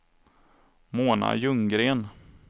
Mona Ljunggren